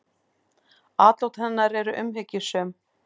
Atlot hennar eru umhyggjusöm.